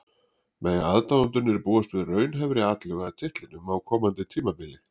Mega aðdáendurnir búast við raunhæfri atlögu að titlinum á komandi tímabili?